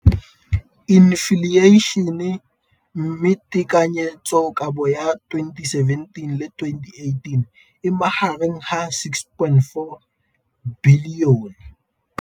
Infleišene, mme tekanyetsokabo ya 2017, 18, e magareng ga R6.4 bilione.